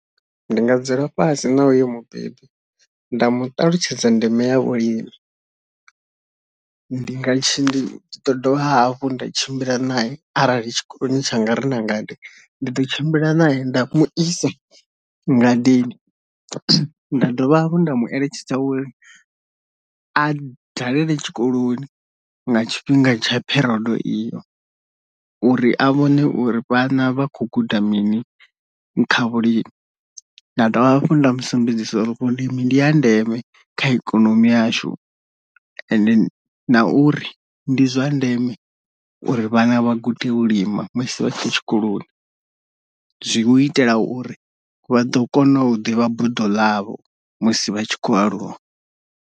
Ndi nga dzula fhasi na uyo mubebi nda mu ṱalutshedza ndeme ya vhulimi, ndi nga tshi ḓo dovha hafhu nda tshimbila nae arali tshikoloni tshanga ri na ngade ndi ḓo tshimbila nae nda mu isa ngadeni nda dovha hafhu nda mu eletshedza uri a dalele tshikoloni nga tshifhinga tsha pherodo iyo uri a vhone uri vhana vha khou guda mini kha vhulimi. Nda dovha hafhu nda musumbedzisa uri vhulimi ndi ndi ha ndeme kha ikonomi yashu ende na uri ndi zwa ndeme uri vhana vha gude u lima musi vha tshe tshikoloni, zwi u itela uri vha ḓo kona u ḓivha buḓo ḽavho musi vha tshi khou aluwa.